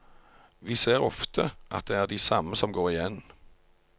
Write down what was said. Vi ser ofte at det er de samme som går igjen.